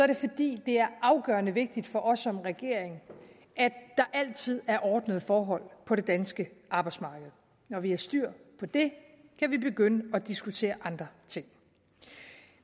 det fordi det er afgørende vigtigt for os som regering at der altid er ordnede forhold på det danske arbejdsmarked når vi har styr på det kan vi begynde at diskutere andre ting